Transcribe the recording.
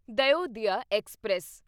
Dayodaya express